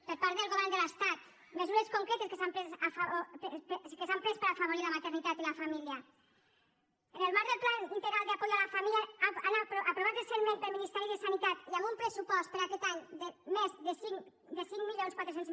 per part del govern de l’estat mesures concretes que s’han pres per afavorir la maternitat i la família en el marc del plan integral de apoyo a la familia aprovat recentment pel ministeri de sanitat i amb un pressupost per a aquest any de més de cinc mil quatre cents